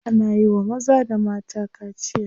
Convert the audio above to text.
Ana iya wa maza da mata kaciya.